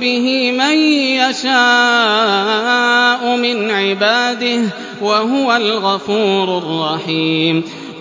بِهِ مَن يَشَاءُ مِنْ عِبَادِهِ ۚ وَهُوَ الْغَفُورُ الرَّحِيمُ